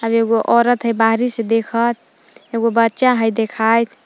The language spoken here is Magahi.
और एगो औरत है बाहरी से देखत एगो बच्चा हय देखात।